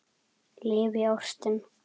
Lifi ástin!